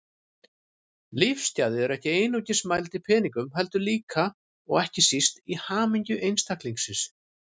Lífsgæði eru ekki einungis mæld í peningum heldur líka, og ekki síst, í hamingju einstaklingsins.